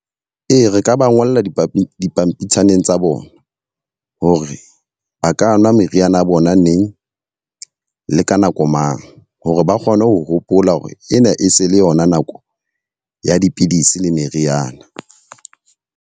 Ee, re ka ba ngole dipampitshaneng tsa bona. Hore ba ka nwa meriana ya bona neng, le ka nako mang. Hore ba kgone ho hopola hore ena e se le yona nako ya dipidisi le meriana.